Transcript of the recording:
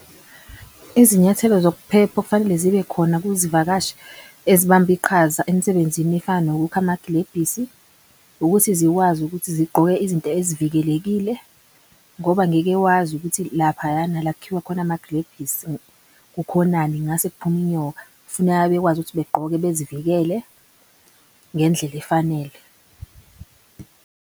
Izinyathelo zokuphepha okufanele zibe khona kuzivakashi ezibambe iqhaza emsebenzini efana nokukha amaglebhisi ukuthi zikwazi ukuthi zigqoke izinto ezivikelekile. Ngoba ngeke wazi ukuthi laphayana la kukhiwa kukhona amaglebhisi kukhonani ngase kuphume inyoka. Kufuneka bekwazi ukuthi begqoke bezivikele ngendlela efanele.